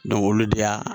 olu de y'a